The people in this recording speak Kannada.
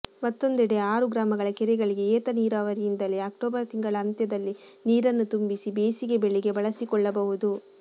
ಮತ್ತೊಂದೆಡೆ ಆರು ಗ್ರಾಮಗಳ ಕೆರೆಗಳಿಗೆ ಏತ ನೀರಾವರಿಯಿಂದಲೇ ಅಕ್ಟೋಬರ್ ತಿಂಗಳ ಅಂತ್ಯದಲ್ಲಿ ನೀರನ್ನು ತುಂಬಿಸಿ ಬೇಸಿಗೆ ಬೆಳೆಗೆ ಬಳಸಿಕೊಳ್ಳಬಹುದು